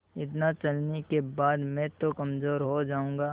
इतना चलने के बाद मैं तो कमज़ोर हो जाऊँगा